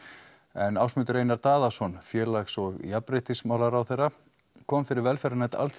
en Ásmundur Einar Daðason félags og jafnréttismálaráðherra kom fyrir velferðarnefnd